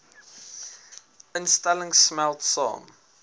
instellings smelt saam